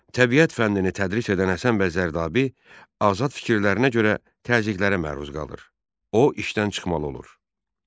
Təbiət fənnini tədris edən Həsən bəy Zərdabi azad fikirlərinə görə təzyiqlərə məruz qalır, o işdən çıxmalı olur.